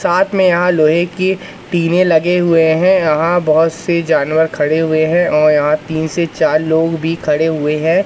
साथ में यहां लोहे के पीने लगे हुए हैं यहां बहोत से जानवर खड़े हुए हैं और यहां तीन से चार लोग भी खड़े हुए हैं।